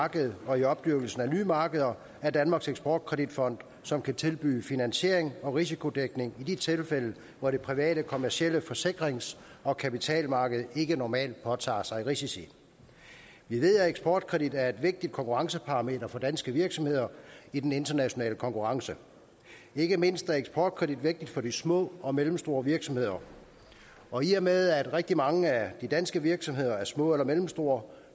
marked og i opdyrkelsen af nye markeder er danmarks eksport kredit fond som kan tilbyde finansiering og risikodækning i de tilfælde hvor det private kommercielle forsikrings og kapitalmarked ikke normalt påtager sig risici vi ved at eksportkredit er et vigtig konkurrenceparameter for danske virksomheder i den internationale konkurrence ikke mindst er eksportkredit vigtigt for de små og mellemstore virksomheder og i og med at rigtig mange af de danske virksomheder er små eller mellemstore